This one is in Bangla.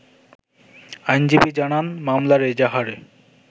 আইনজীবী জানান, মামলার এজাহারে